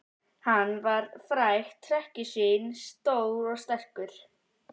Hann var frægt hrekkjusvín, stór og sterkur.